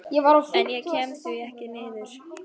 En ég kem því ekki niður.